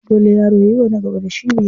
Dole yaro yayiwa na gaba da shi biyayya.